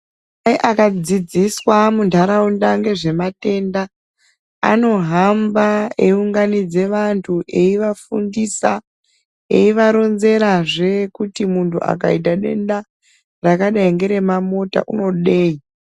Aya akadzisiswa muntaraunda ngezvematenda anohamba eiunganidze vantu eivafundise eivaronzerazve kuti muntu akaita denda rakadai ngeremamota unodei.